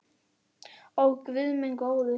Ó guð minn góður.